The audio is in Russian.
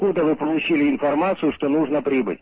куда вы получили информацию что нужно прибыть